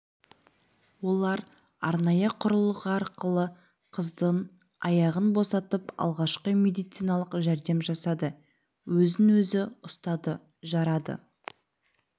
олар арнайы құрылғы арқылы қыздың аяғын босатып алғашқы медициналық жәрдем жасады өзін өзі ұстады жарады